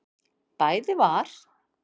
Bæði var